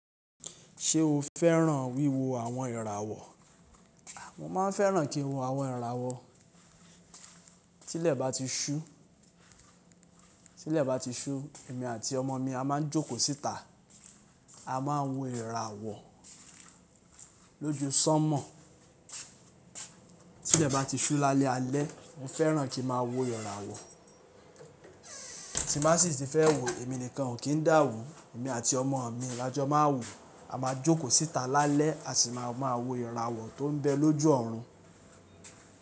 Ṣé o fẹ́ràn wíwo àwọn ìràwọ̀? Mo máa ń fẹ́ràn kí n wo àwọn ìràwọ̀. Tí ilẹ̀ bá ti ṣú, tí ilẹ̀ bá ti ṣú, èmi àti ọmọ mi a máa ń jókòó síta, a máa ń wo ìràwọ̀ lójú sánmọ̀. Tí ilẹ̀ bá ti ṣú lálẹ́ alẹ́, mo fẹ́ràn kí ma wo ìràwọ̀. Tí má sì ti fẹ́ wo, èmi nìkan o kìn dà wù, èmi àti ọmọ mi lọ́jọ́ má a wò, a máa jókòó síta lálẹ́, a sì máa máa wo ìràwọ̀ tó ń bẹ lójú ọ̀run.